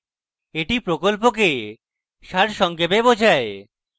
এটি প্রকল্পকে সারসংক্ষেপে বোঝায়